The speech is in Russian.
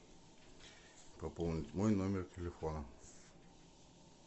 пополнить мой номер телефона